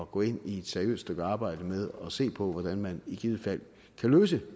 gå ind i et seriøst stykke arbejde med at se på hvordan man i givet fald kan løse